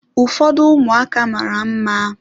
Ụfọdụ ụmụaka mara mma.